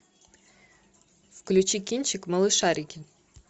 включи кинчик малышарики